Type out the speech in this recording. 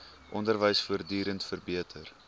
onderwys voortdurend verbeter